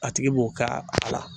A tigi b'o k'a a la